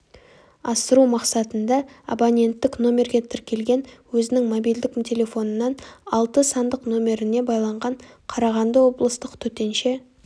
асыру мақсатында абоненттік номерге тіркелген өзінің мобильдік телефонынан алты сандық номеріне байланған қарағанды облыстық төтенше